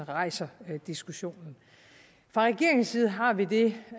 rejser diskussionen fra regeringens side har vi det